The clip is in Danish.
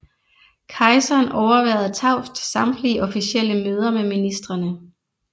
Kejseren overværede tavst samtlige officielle møder med ministrene